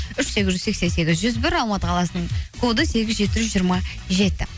үш сегіз жүз сексен сегіз жүз бір алматы қаласының коды сегіз жеті жүз жиырма жеті